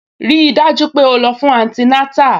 Rí i dájú pé o lọ fún antinátà